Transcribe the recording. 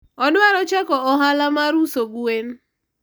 odwaro chako ohala mar uso gwen